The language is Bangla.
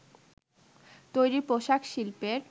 তৈরি পোশাক শিল্পের